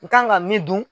N kan ka min dun